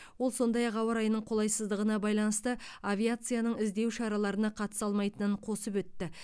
ол сондай ақ ауа райының қолайсыздығына байланысты авиацияның іздеу шараларына қатыса алмайтынын қосып өтті